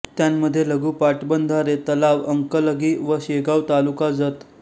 त्यांमध्ये लघु पाटबंधारे तलाव अंकलगी व शेगाव तालुका जत